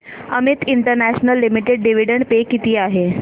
Amit international limited dividend pay किती आहे